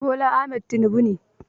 Bola Ahmad Tinubu ne